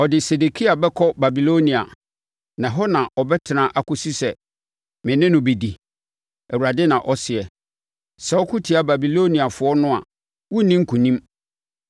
Ɔde Sedekia bɛkɔ Babilonia, na ɛhɔ na ɔbɛtena akɔsi sɛ me ne no bɛdi, Awurade na ɔseɛ. Sɛ woko tia Babiloniafoɔ no a worenni nkonim.’ ”